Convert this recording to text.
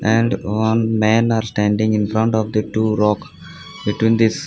and one man are standing infront of the two rock between this--